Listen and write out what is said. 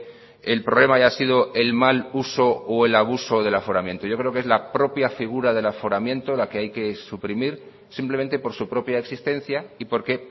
el problema haya sido el mal uso o el abuso del aforamiento yo creo que es la propia figura del aforamiento la que hay que suprimir simplemente por su propia existencia y por que